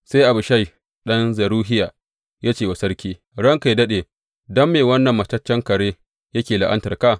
Sai Abishai ɗan Zeruhiya ya ce wa sarki, Ranka yă daɗe, don me wannan mataccen kare yake la’antarka?